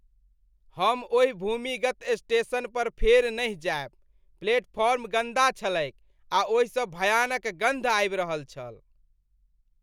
हम ओहि भूमिगत स्टेशनपर फेर नहि जायब। प्लेटफॉर्म गन्दा छलैक आ ओहिसँ भयानक गन्ध आबि रहल छल।